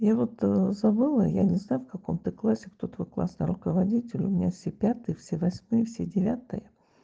я вот забыла я не знаю в каком ты классе кто твой классный руководитель у меня все пятые все восьмые все девятые